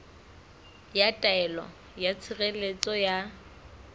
ya taelo ya tshireletso ya